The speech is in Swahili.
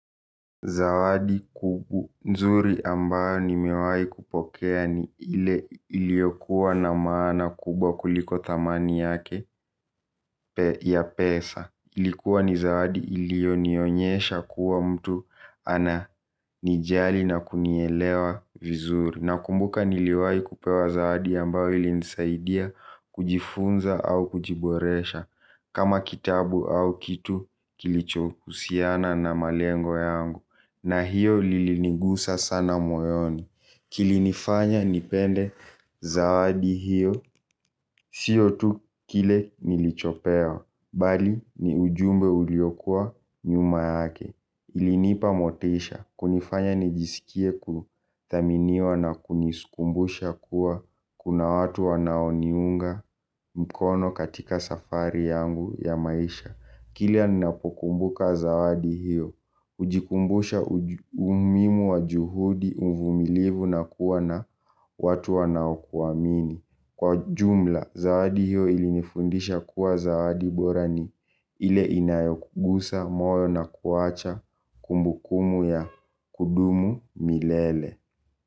Zawadi nzuri ambayo nimewahi kupokea ni ile iliokuwa na maana kubwa kuliko thamani yake ya pesa. Ilikuwa ni zawadi ilionionyesha kuwa mtu ananijali na kunielewa vizuri. Nakumbuka niliwahi kupewa zawadi amabayo ilinisaidia kujifunza au kujiboresha. Kama kitabu au kitu kilichohusiana na malengo yangu. Na hiyo lilinigusa sana moyoni. Kilinifanya nipende zawadi hiyo. Sio tu kile nilichopewa bali ni ujumbe uliokua nyuma yake. Ilinipa motisha. Kunifanya nijisikie kuthaminiwa na kunikumbusha kuwa kuna watu wanaoniunga mkono katika safari yangu ya maisha kila ninapokumbuka zawadi hiyo hujikumbusha umuhimu wa juhudi uvumilivu, na kuwa na watu wanaokuamini. Kwa jumla, zawadi hiyo ilinifundisha kuwa zawadi bora ni ile inayokugusa moyo na kuacha kumbukumbu ya kudumu milele.